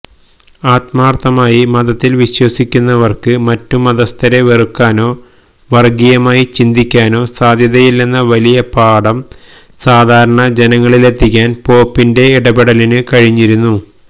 ആത്മാര്ഥമായി മതത്തില് വിശ്വസിക്കുന്നവര്ക്ക് മറ്റുമതസ്ഥരെ വെറുക്കാനോ വര്ഗീയമായി ചിന്തിക്കാനോ സാധ്യമല്ലെന്ന വലിയ പാഠം സാധാരണ ജനങ്ങളിലെത്തിക്കാന് പോപ്പിന്റെ ഇടപെടലിനു കഴിഞ്ഞിരിക്കുന്നു